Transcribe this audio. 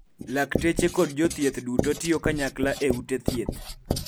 lakteche kod jothieth duto tiyo kanyakla e ute thieth